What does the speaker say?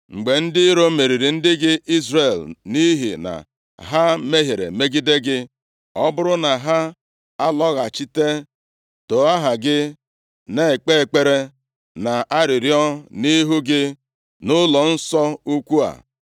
“Mgbe ndị iro meriri ndị gị Izrel, nʼihi na ha mehiere megide gị, ọ bụrụ na ha alọghachite, too aha gị, na-ekpe ekpere, na-arịọ arịrịọ nʼihu gị nʼụlọnsọ ukwu a,